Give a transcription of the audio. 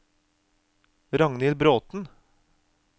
Ragnhild Bråten